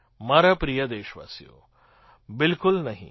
મારા પ્રિય દેશવાસીઓ બિલકુલ નહીં